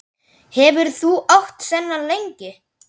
Hefurðu átt þennan lengi?